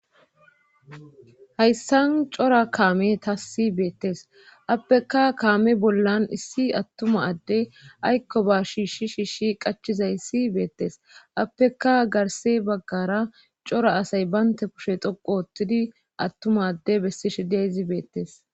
Hayssan cora kaame ta si beettes appeka kaame bollan issi attuma adde aykko ba shiishi shiishshi qachizay si beettes appeka garse baggara cora asay baynte kushe doqu oottidi attuma adde bessi shidia zi beettes.